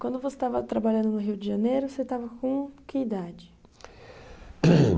Quando você estava trabalhando no Rio de Janeiro, você estava com que idade?